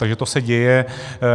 Takže to se děje.